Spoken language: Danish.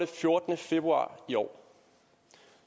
fjortende februar i år